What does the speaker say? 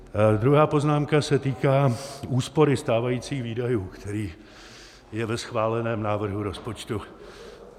Druhá poznámka se týká úspory stávajících výdajů, který je ve schváleném návrhu rozpočtu.